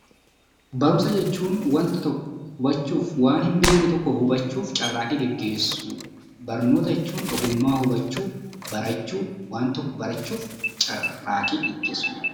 Barumsa jechuun wanta tokko hubachuuf, waan hin beekne tokko hubachuuf carraaqqii gagheessuu, barnoota jechuun ogummaa horachuu, waan tokko barachuu, barachuuf carraaqqii gaggeessuu jechuudha.